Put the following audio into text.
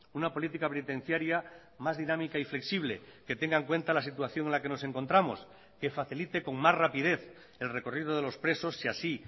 una política penitenciaria más dinámica y flexible que tenga en cuenta la situación en la que nos encontramos que facilite con más rapidez el recorrido de los presos y así